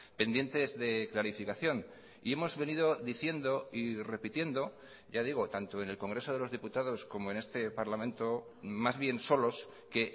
pendientes de clarificación y hemos venido diciendo y repitiendo ya digo tanto en el congreso de los diputados como en este parlamento más bien solos que